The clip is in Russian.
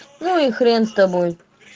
ну и хрен с тобой